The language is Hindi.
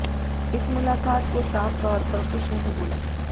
इस मुलाकात को साफ तौर पर कुछ नही बोला